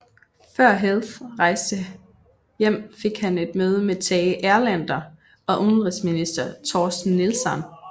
Før Health rejste hjem fik han et møde med Tage Erlander og udenrigsminister Torsten Nilsson